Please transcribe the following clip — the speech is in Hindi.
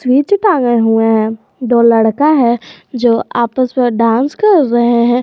नीचे हुए हैं दो लड़का है जो आपस में डांस कर रहे हैं।